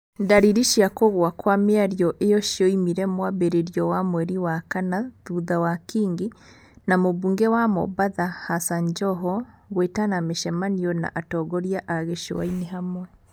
Ndariri cia kũgũa kwa mĩario ĩo cioimire mwambĩrĩrio wa mweri wa kana thutha wa Kingi na Mũmbunge wa Mombatha Hassan Joho gũĩtana mĩcemanio na atongoria a gĩcũa-inĩ hamwe.